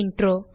நன்றி